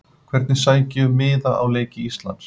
Hvernig sæki ég um miða á leiki Íslands?